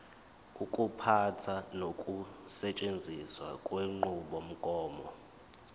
ukuphatha nokusetshenziswa kwenqubomgomo